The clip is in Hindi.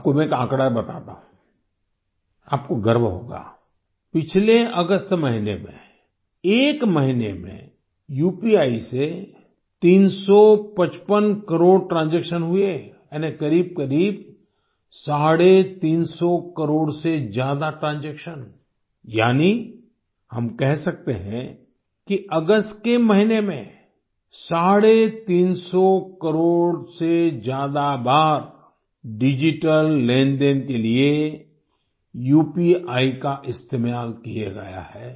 आपको मैं एक आंकड़ा बताता हूँ आपको गर्व होगा पिछले अगस्त महीने में एक महीने में उपी से 355 करोड़ ट्रांजैक्शन हुए यानि करीबकरीब 350 करोड़ से ज्यादा ट्रांजैक्शन यानि हम कह सकते हैं कि अगस्त के महीने में 350 करोड़ से ज्यादा बार डिजिटल लेनदेन के लिये उपी का इस्तेमाल किया गया है